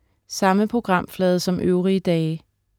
Samme programflade som øvrige dage